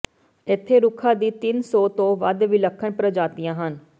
ਇੱਥੇ ਰੁੱਖਾਂ ਦੀ ਤਿੰਨ ਸੌ ਤੋਂ ਵੱਧ ਵਿਲੱਖਣ ਪ੍ਰਜਾਤੀਆਂ ਹਨ